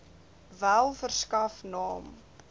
wel verskaf naam